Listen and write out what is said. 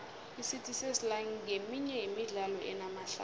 icity sesla nqeminye yemidlalo enamahlaya